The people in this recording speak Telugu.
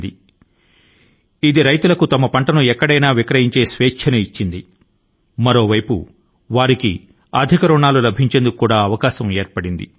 ఇది ఒక ప్రక్క న రైతుల కు వారి యొక్క ఫలసాయాన్ని ఎక్కడైనా సరే వారికి నచ్చిన వారి కి విక్రయించుకొనేందుకు స్వతంత్రాన్ని ఇస్తుంది మరో ప్రక్క న ఇది అధిక రుణాల కు కూడాను బాట ను పరచింది